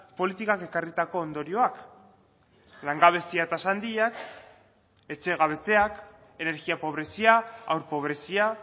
politikak ekarritako ondorioak langabezia tasa handiak etxegabetzeak energia pobrezia haur pobrezia